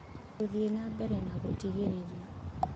Gũthiĩ na Mbere na Gũtigĩrĩra